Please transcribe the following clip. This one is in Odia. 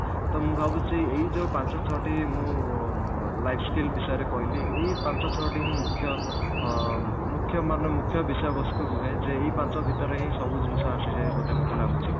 ତ ମୁଁ ଭାବୁଛି ଏଇ ଯଉ ପାଞ୍ଚ ଛଅଟି ମୁଁ ଅ life skill ବିଷୟରେ କହିଲି ଏଇ ପାଞ୍ଚ ଛଅଟି ହିଁ ମୁଖ୍ୟ ଅ ମୁଖ୍ୟ ମାନେ ମୁଖ୍ୟ ବିଷୟ ବସ୍ତୁ ରୁହେ ଯେଇ ପାଞ୍ଚ ଭିତରେ ହିଁ ସବୁ ଜିନିଷ ଆସିଯାଏ ବୋଧେ ମୋତେ ଲାଗୁଛି